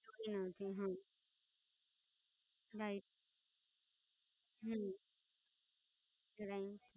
હનજી હા, નય હમમમ રાઈટ